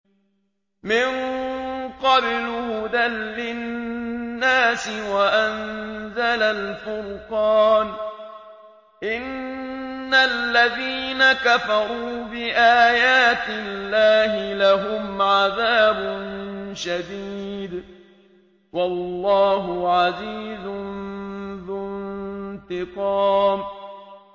مِن قَبْلُ هُدًى لِّلنَّاسِ وَأَنزَلَ الْفُرْقَانَ ۗ إِنَّ الَّذِينَ كَفَرُوا بِآيَاتِ اللَّهِ لَهُمْ عَذَابٌ شَدِيدٌ ۗ وَاللَّهُ عَزِيزٌ ذُو انتِقَامٍ